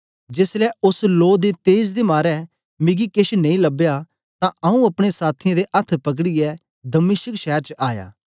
जेसलै ओस लो दे तेज दे मारे मिकी केछ नेई लबया तां आंऊँ अपने साथियें दे अथ्थ पकड़ीयै दमिश्क शैर च आया